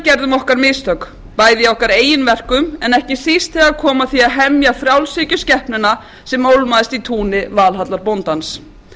gerðum okkar mistök bæði í okkar eigin verkum en ekki síst þegar kom að því að hemja frjálshyggjuskepnuna sem ólmaðist í túni